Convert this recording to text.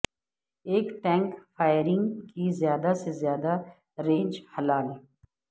ایک tank firing کی زیادہ سے زیادہ رینج ھلال